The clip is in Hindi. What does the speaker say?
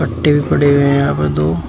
मट्टी भी पड़ी हुई है यहां पर दो--